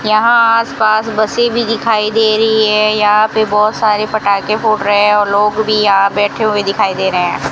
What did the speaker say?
यहां आस पास बसे भी दिखाई दे रही है यहां पे बहोत सारे पटाके फुट रहे है और लोग भी यहां बैठे हुए दिखाई दे रहे है।